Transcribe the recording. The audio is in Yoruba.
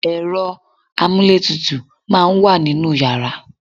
ẹ̀rọ amúlé tutù máà ń wà ninú yàrá